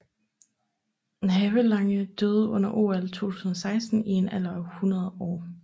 Havelange døde under OL 2016 i en alder af 100 år